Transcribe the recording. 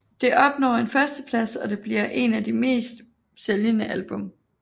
Det opnår en førsteplads og bliver en af de mest sælgende album